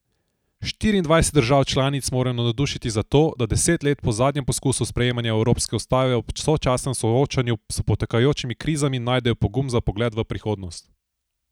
Šestindvajset držav članic morajo navdušiti za to, da deset let po zadnjem poskusu sprejemanja evropske ustave ob sočasnem soočanju s potekajočimi krizami najdejo pogum za pogled v prihodnost.